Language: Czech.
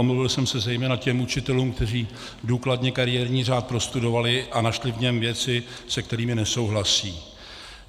Omluvil jsem se zejména těm učitelům, kteří důkladně kariérní řád prostudovali a našli v něm věci, se kterými nesouhlasí.